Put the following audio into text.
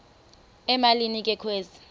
emalini ke kwezi